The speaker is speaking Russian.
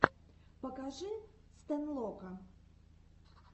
покажи стэнлока